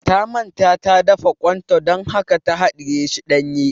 Ta manta ta dafa ƙwan ta dan haka ta haɗiye shi ɗanye